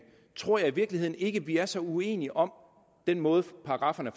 tror jeg i virkeligheden ikke vi er så uenige om den måde paragrafferne